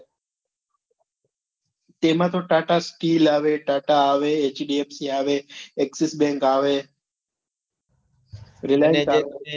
તેમાં તો TATA steel આવે TATA આવે HDFC આવે axis bank આવે રિલાયંસ આવે